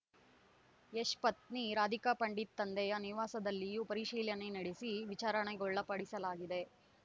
ಯಶ್‌ ಪತ್ನಿ ರಾಧಿಕಾಪಂಡಿತ್‌ ತಂದೆಯ ನಿವಾಸದಲ್ಲಿಯೂ ಪರಿಶೀಲನೆ ನಡೆಸಿ ವಿಚಾರಣೆಗೊಳಪಡಿಸಲಾಗಿದೆ